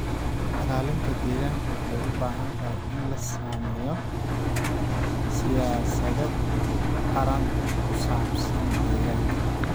Ilaalinta deegaanka waxay u baahan tahay in la sameeyo siyaasado qaran oo ku saabsan deegaanka.